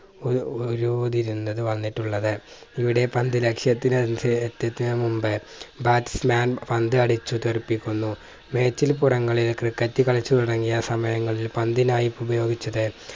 ഒര് ഒരുതിരിഞ്ഞത് വന്നിട്ടുള്ളത് ഇവിടെ പന്ത് ലക്ഷ്യത്തിന് അനുസ എത്തിച്ചതിന് മുമ്പേ bats man പന്ത് അടിച്ചു് തെറിപ്പിക്കുന്നു മേച്ചിൻപുറങ്ങളിൽ ക്രിക്കറ്റ് കളിച്ചു തുടങ്ങിയ സമയങ്ങളിൽ പന്തിനായി ഉപയോഗിച്ചത്